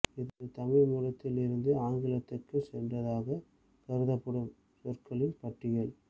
இது தமிழ் மூலத்தில் இருந்து ஆங்கிலத்துக்கு சென்றதாக கருதப்படும் சொற்களின் பட்டியல்